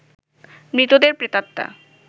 মৃতদের প্রেতাত্মা